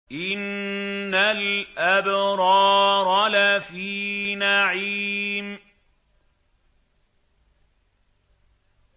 إِنَّ الْأَبْرَارَ لَفِي نَعِيمٍ